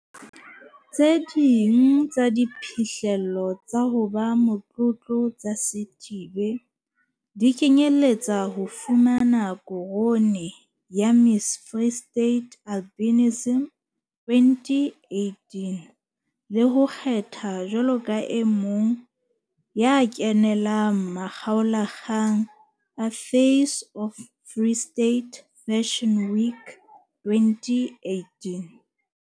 Tse ding tsa diphihlello tsa ho ba motlotlo tsa Sithibe di kenyelletsa ho fumana korone ya Miss Free State Albinism 2018 le ho kgethwa jwalo ka e mong wa kenelang makgaola kgang a Face of Free State Fashion Week 2018.